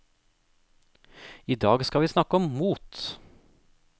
I dag skal vi snakke om mot.